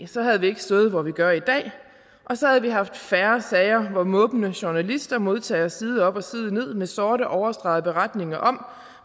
så havde vi ikke stået hvor vi gør i dag og så havde vi haft færre sager hvor måbende journalister modtager side op og side ned af med sort overstregede beretninger om